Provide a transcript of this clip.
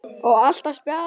Og alltaf spjall.